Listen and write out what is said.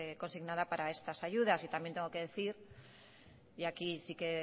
consignada para estas ayudas y también tengo que decir y aquí sí que